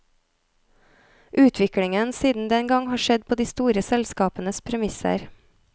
Utviklingen siden den gang har skjedd på de store selskapenes premisser.